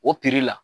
O la